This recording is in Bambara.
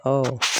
Ɔ